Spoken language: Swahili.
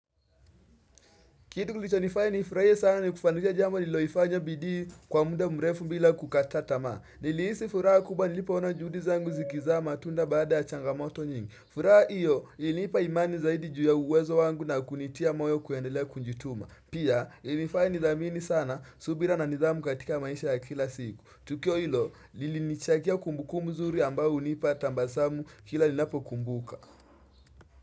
Kitu kilichonifanya nifuraiye sana ni kufanikisha jambo liloifanya bidii kwa mda mrefu bila kukata tamaa. Niliisi furaha kubwa nilipo ona juhudi zangu zikizaa matunda baada ya changamoto nyingi. Furaha iyo ilinipa imani zaidi juu ya uwezo wangu na kunitia moyo kuendelea kunjituma. Pia ilifanya nithamini sana subira na nithamu katika maisha ya kila siku. Tukio ilo lilinichakia kumbukumbu nzuri ambao unipa tambasamu kila ninapo kumbuka.